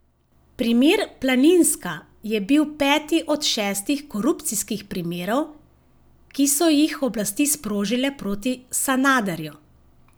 Primer Planinska je bil peti od šestih korupcijskih primerov, ki so jih oblasti sprožile proti Sanaderju.